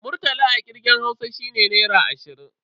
Murtala a kirgen Hausa shine Naira ashirin.